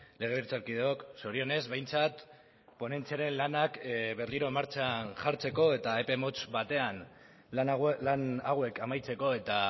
legebiltzarkideok zorionez behintzat ponentziaren lanak berriro martxan jartzeko eta epe motz batean lan hauek amaitzeko eta